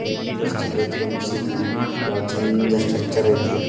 ಅಲ್ಲಿ ಎಷ್ಟ್ ಚೆಂದ ಅಯ್ತ್ರಿ ಮಸೀದಿ ಬಹಳ ಚೆಂದ ಸ್ಟ್ರಕ್ಚರ್ ಅಯ್ತಿ .